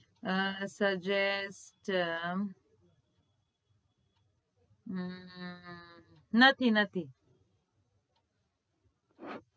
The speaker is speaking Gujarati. આહ suggest અમ હમ નથી નથી.